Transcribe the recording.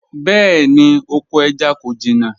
Bẹẹni, oko ẹja ko jina